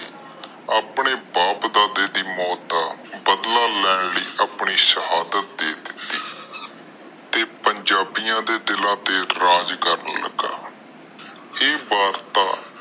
ਆਪਣੇ ਬਾਪ ਦਾਦੇ ਦਾ ਮੌਤ ਦਾ ਬਦਲਾ ਲੈਣ ਲਾਇ ਸਿਹਦਾਤ ਦੇ ਦਿਤੀ ਤੇ ਪੰਜਾਬੀਆਂ ਦੇ ਦਿਲ ਤੇ ਰਾਜ ਕਰਨ ਲਗਾ